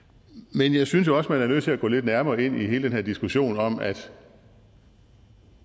men jeg synes jo også man er nødt til at gå lidt nærmere ind i hele den her diskussion om at